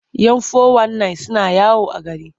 Yan fo-wan-nayin suna yawo a gari.